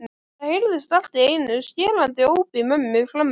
Það heyrðist allt í einu skerandi óp í mömmu frammi.